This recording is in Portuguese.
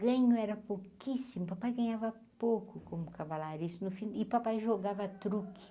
Ganho era pouquíssimo, o papai ganhava pouco como cavalariço, no fim e o papai jogava truque.